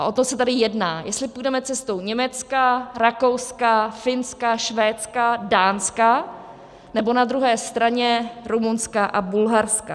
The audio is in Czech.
A o to se tady jedná, jestli půjdeme cestou Německa, Rakouska, Finska, Švédska, Dánska, nebo na druhé straně Rumunska a Bulharska.